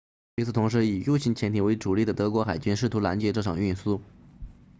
与此同时以 u 型潜艇为主力的德国海军试图拦截这场运输